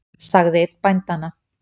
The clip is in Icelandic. sagði einn bændanna.